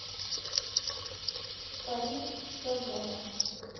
фариз сазонов